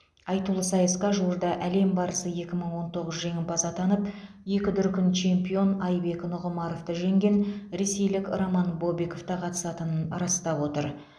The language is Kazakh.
айтулы сайысқа жуырда әлем барысы екі мың он тоғыз жеңімпазы атанып екі дүркін чемпион айбек нұғымаровты жеңген ресейлік роман бобиков та қатысатынын растап отыр